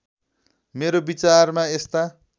मेरो विचारमा यस्ता